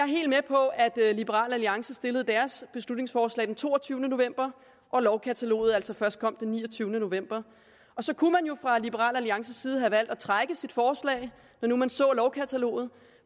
helt med på at liberal alliance stillede deres beslutningsforslag den toogtyvende november og at lovkataloget altså først kom den niogtyvende november og så kunne man fra liberal alliances side have valgt at trække sit forslag når nu man så lovkataloget